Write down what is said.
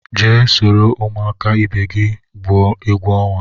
Jee soro ụmụaka ibe gị gwuo egwu ọnwa!